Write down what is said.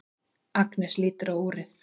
Agnes lítur á úrið.